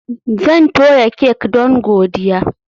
Zan toya kek don godiya